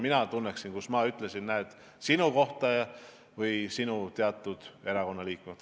Mina kiitleksin, et kus ma ikka ütlesin, näed, sinu kohta või mõne sinu erakonnaliikme kohta.